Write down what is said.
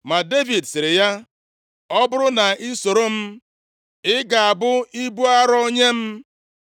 Ma Devid sịrị ya, “Ọ bụrụ na i soro m, ị ga-abụ ibu arọ nye m.